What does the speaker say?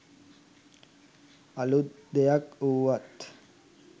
අලුත් දෙයක් වුවත්